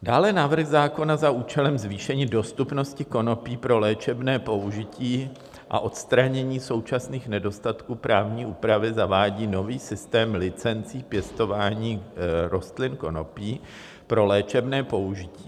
Dále návrh zákona za účelem zvýšení dostupnosti konopí pro léčebné použití a odstranění současných nedostatků právní úpravy zavádí nový systém licencí pěstování rostlin konopí pro léčebné použití.